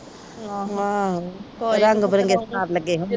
ਰੰਗ ਬਿਰੰਗੇ ਸਟਾਲ ਲੱਗੇ ਹੁੰਦੇ।